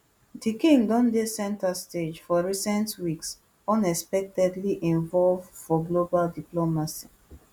di king don dey centrestage for recent weeks unexpectedly involve for global diplomacy